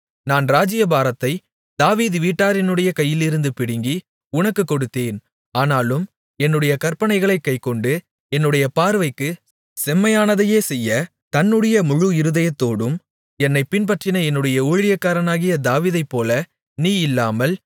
நான் ராஜ்ஜியபாரத்தை தாவீது வீட்டாரினுடைய கையிலிருந்து பிடுங்கி உனக்குக் கொடுத்தேன் ஆனாலும் என்னுடைய கற்பனைகளைக் கைக்கொண்டு என்னுடைய பார்வைக்குச் செம்மையானதையே செய்ய தன்னுடைய முழு இருதயத்தோடும் என்னைப் பின்பற்றின என்னுடைய ஊழியனாகிய தாவீதைப்போல நீ இல்லாமல்